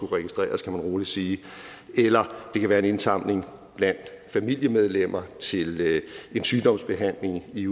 registreres kan man rolig sige eller det kan være en indsamling blandt familiemedlemmer til en sygdomsbehandling i